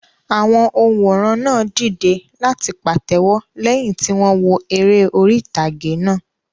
Àwọn òǹwòran náà dìde láti pàtẹ́wọ́ lẹ́yìn tí wọ́n wo eré orí ìtàgé náà.